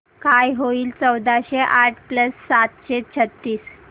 काय होईल चौदाशे आठ प्लस सातशे छ्त्तीस